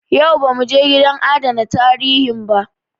Yau ba mu je gidan adana tarihin ba.